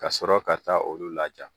Ka sɔrɔ ka taa olu laja